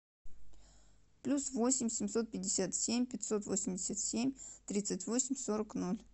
плюс восемь семьсот пятьдесят семь пятьсот восемьдесят семь тридцать восемь сорок ноль